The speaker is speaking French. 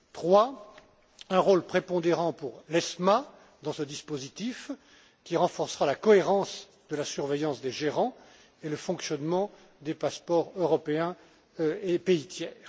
Troisièmement, un rôle prépondérant pour l'ESMA dans ce dispositif qui renforcera la cohérence de la surveillance des gérants et le fonctionnement des passeports européens et pays tiers.